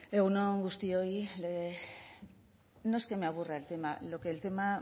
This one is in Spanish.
egun on guztioi no es que me aburra el tema lo que el tema